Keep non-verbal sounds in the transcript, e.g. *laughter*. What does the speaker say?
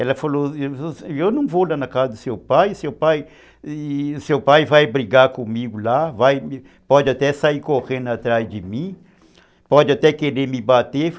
Ela falou, eu não vou lá na casa do seu pai, seu pai *unintelligible* vai brigar comigo lá, pode até sair correndo atrás de mim, pode até querer me bater.